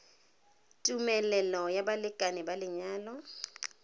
tumelelo ya balekane ba lenyalo